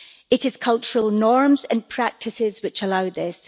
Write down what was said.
It is cultural norms and practices which allow this.